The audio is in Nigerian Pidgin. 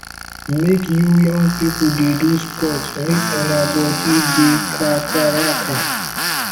make you young pipu dey do sports make una body dey kakaraka